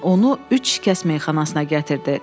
Fecin onu üç şikəst meyxanasına gətirdi.